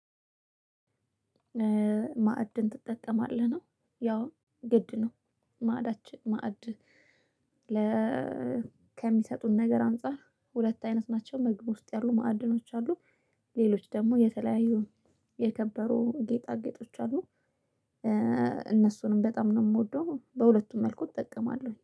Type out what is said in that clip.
"ማዕድን ትጠቀማለህ?" ነው፣ ያው ግድ ነው ማዕዳችን ማዕድ ለ ከሚሰጡን ነገር አንፃር ሁለት አይነት ናቸው ምግብ ውስጥ ያሉ ማዕድኖች አሉ ሌሎች ደግሞ የተለያዩ የከበሩ ጌጣጌጦች አሉ። እነሱንም በጣም ነው የምወደው። በሁለቱም መልኩ እጠቀማለሁኝ።